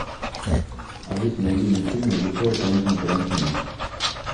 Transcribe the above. алиса найди мне фильмы режиссера квентина тарантино